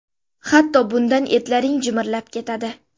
Hatto bundan etlaring jimirlab ketadi.